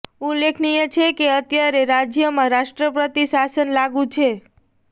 ઉલ્લેખનીય છે કે અત્યારે રાજ્યમાં રાષ્ટ્રપતિ શાસન લાગૂ છે